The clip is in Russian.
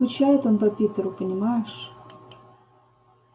скучает он по питеру понимаешь